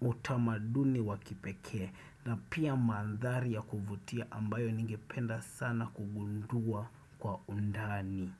utamaduni wa kipekee na pia mandhari ya kuvutia ambayo ningependa sana kugundua kwa undani.